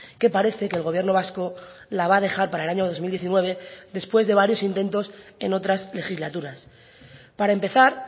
que parece que el gobierno vasco la va a dejar para el año dos mil diecinueve después de varios intentos en otras legislaturas para empezar